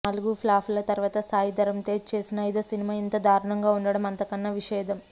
నాలుగు ఫ్లాపుల తరువాత సాయి ధరమ్ తేజ చేసిన అయిదో సినిమా ఇంత దారణంగా వుండడం అంతకన్నా విషాదం